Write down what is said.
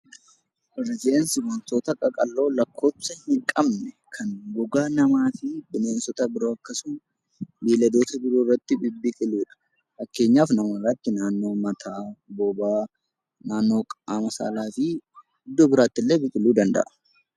Rifeensi wantoota qaqalloo lakkoofsa hin qabne kan gogaa namaafi bineensota biroo akkasuma beelladoota biroo irratti bibbiqilidha. Fakkeenyaaf nama irratti naannoo mataa, bobaa, naannoo qaama saalaafi iddoo biraattillee biqiluu danda'a.